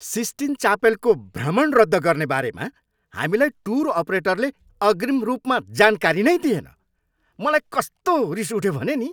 Sistine चापेलको भ्रमण रद्द गर्ने बारेमा हामीलाई टुर अपरेटरले अग्रिम रूपमा जानकारी नै दिएन। मलाई कस्तो रिस उठ्यो भने नि।